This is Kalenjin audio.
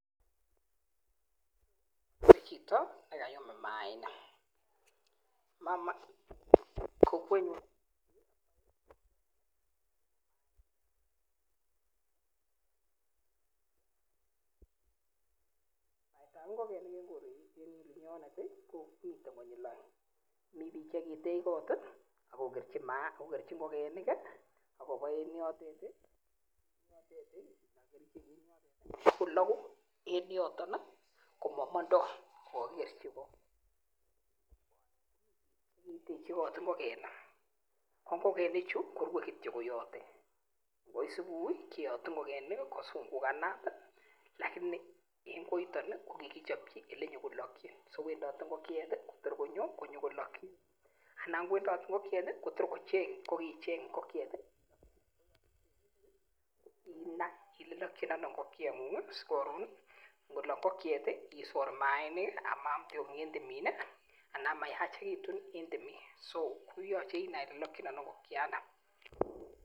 Ni ko chito nekayum mayainik, baet ao ngokenik en koreni komite konyil aeng mi pik che kitech kot akokerchi ngokenik ako en yotet kolaku ako mamando kokakikerchi ko , kikitekchi kot ngokenik , ko ngokenik chu korue kityo yotet ngoit subui keyatu ngokenik kuzungukanat , lakini en koitan kikichapchi ele nyokolakchin sowendote ngokiet kotor konyo nyokolak anan kowendot ngokiet kokicheng ngokiet olelakchin , mache inai olelekchin ngokei ngun , si ngolak ngokiet isor mayainik ama aam tionyik en timin anan mayachikitu en timin.